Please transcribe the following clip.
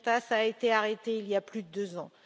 Demirtas a été arrêté il y a plus de deux ans.